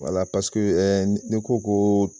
Wala paseke n'i ko ko